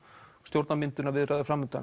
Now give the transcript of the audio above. stjórnarmyndunarviðræður